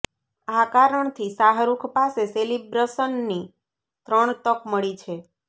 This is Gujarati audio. આ કારણથી શાહરુખ પાસે સેલિબ્રશનની ત્રણ તક મળી છે